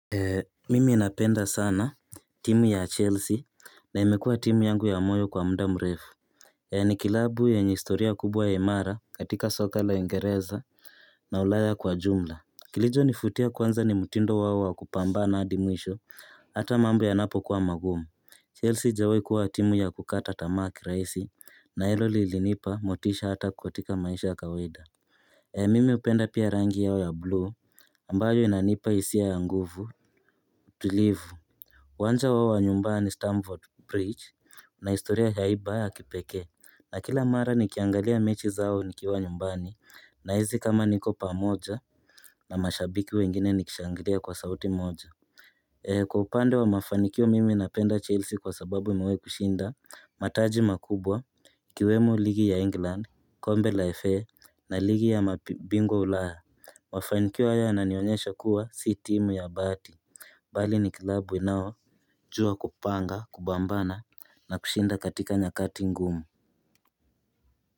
Mimi ninapenda sana timu ya Chelsea na imekua timu yangu ya moyo kwa mda mrefu ni klabu ya historia kubwa ya imara katika soka la Uingereza na ulaya kwa jumla. Kilicho nifutia kwanza ni mtindo wao wa kupambana hadi mwisho hata mambo yanapo kuwa magumu. Chelsea haijawahi kuwa timu ya kukata tamaa kirahisi na hilo lilinipa motisha hata katika maisha ya kawaida Mimi hupenda pia rangi yao ya blue ambayo inanipa hisia ya nguvu tulivu uwanja wa nyumba ni Stanford Bridge na historia ya hi bae ya kipekee. Na kila mara nikiangalia mechi zao nikiwa nyumbani nahisi kama niko pamoja na mashabiki wengine nikishangilia kwa sauti moja Kwa upande wa mafanikio mimi napenda Chelsea kwa sababu imewahi kushinda mataji makubwa ikiwemo ligi ya England kombe la FA na ligi ya mabingwa ulaya Mafanikio haya na yanionyesha kuwa si timu ya bahati Bali ni klabu inayojua kupanga, kupambana na kushinda katika nyakati ngumu.